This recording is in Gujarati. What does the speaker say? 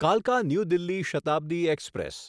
કાલકા ન્યૂ દિલ્હી શતાબ્દી એક્સપ્રેસ